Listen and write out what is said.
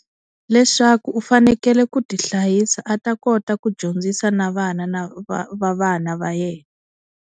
Leswaku u fanekele ku ti hlayisa a ta kota ku dyondzisa na vana na va va vana va yena.